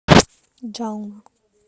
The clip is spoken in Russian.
джална